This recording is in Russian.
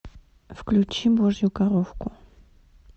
включи божью коровку